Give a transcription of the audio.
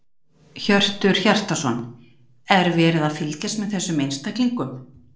Hjörtur Hjartarson: Er verið að fylgjast með þessum einstaklingum?